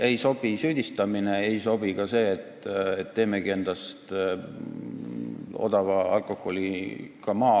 Ei sobi süüdistamine, ei sobi ka plaan teha endast odava alkoholiga maa.